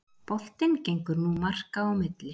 Boltinn gengur nú marka á milli